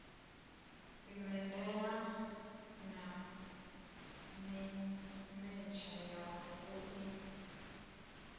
dzimedala na mimetshe ya vhui